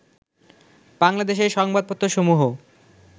বাংলাদেশের সংবাদপত্রসমূহ